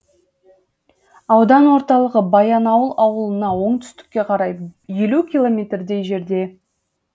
аудан орталығы баянауыл ауылынан оңтүстікке қарай елу километрдей жерде